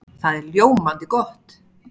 Það er ljómandi gott!